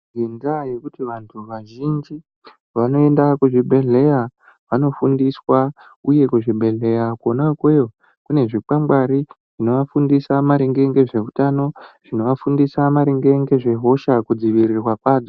Ngendaa yekuti vanthu vazhinji vanoenda kuzvibhedhleya vanofundiswa uye kuzvibhedhleya kona ikweyo kune zvikwangwari zvinovafundisa maringe ngezveutqno zvinovafundisa maringe ngezvehosha kudzivirirwa kwadzo.